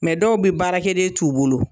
Mɛ dɔw bi baarakɛ den t'u bolo